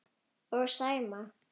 Og Sæma.